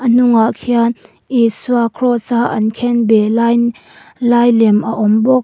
a hnungah khian isua cross a an khenbeh lain lai lem a awm bawk.